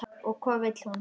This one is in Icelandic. Og hvað vill hún?